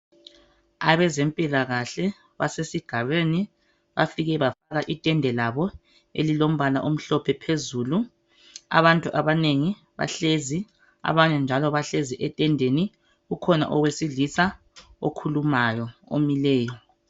Abezempilakahle basesigabeni, bafike bafaka itende labo elilombala omhlophe phezulu. Abantu abanengi bahlezi abanye njalo bahlezi etendeni. Kukhona owesilisa okhulumayo, omileyo.